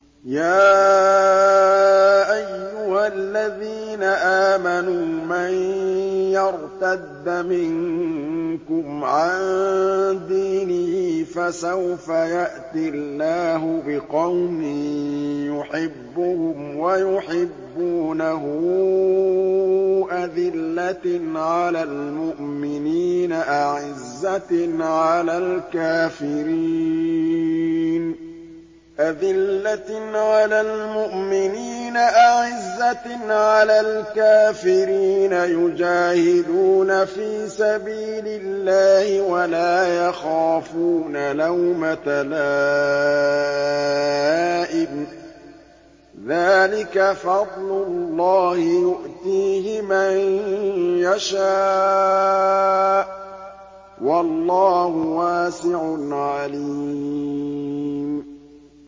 يَا أَيُّهَا الَّذِينَ آمَنُوا مَن يَرْتَدَّ مِنكُمْ عَن دِينِهِ فَسَوْفَ يَأْتِي اللَّهُ بِقَوْمٍ يُحِبُّهُمْ وَيُحِبُّونَهُ أَذِلَّةٍ عَلَى الْمُؤْمِنِينَ أَعِزَّةٍ عَلَى الْكَافِرِينَ يُجَاهِدُونَ فِي سَبِيلِ اللَّهِ وَلَا يَخَافُونَ لَوْمَةَ لَائِمٍ ۚ ذَٰلِكَ فَضْلُ اللَّهِ يُؤْتِيهِ مَن يَشَاءُ ۚ وَاللَّهُ وَاسِعٌ عَلِيمٌ